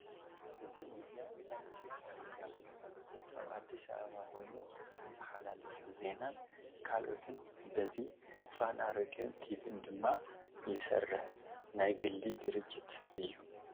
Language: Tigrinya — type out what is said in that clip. እዚ ሚድያ ናይ ኢትዮጽያ ሚድያ ኮይኑ ኣብ ኣዲስ ኣበባ ኮይኑ ዝምሓላልፍ ዜና ን ካልኦትን በዚ ፋና ሬድዮን ቲቪን ድማ ይስርሕ ናይ ግሊ ድርጅት እዩ